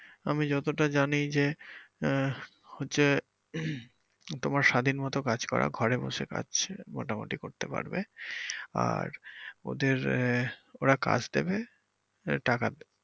আমি যতটা জানি যে আহ হচ্ছে তোমার স্বাধীনমতো কাজ করা ঘরে বসে কাজ মোটামুটি করতে পারবে আর ওদের আহ ওরা কাজ দেবে আহ টাকা।